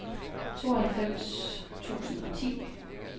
tooghalvfems tusind og ti